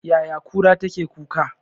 Yaya kura take kuka?